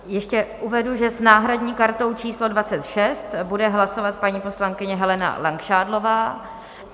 Ještě uvedu, že s náhradní kartou číslo 26 bude hlasovat paní poslankyně Helena Langšádlová.